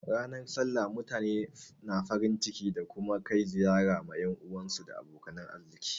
Ranar sallah mutane na farin ciki da kuma kai ziyara ma yan uwa da abokan arziki.